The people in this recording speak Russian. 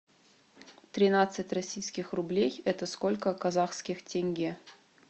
тринадцать российских рублей это сколько казахских тенге